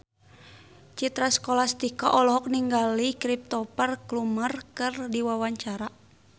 Citra Scholastika olohok ningali Cristhoper Plumer keur diwawancara